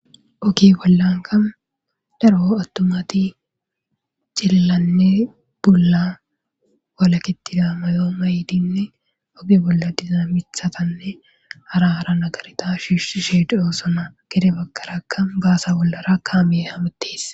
Ogge bollankka darro attumathi cilillane bulan walakethiya mayyo mayidinne oge bolla diza mithathane hara hara negeretha shishe de'ossona. Gede bagarakka bassa bollarakka miyi hamuthess.